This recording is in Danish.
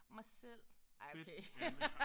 Mig selv. Ej okay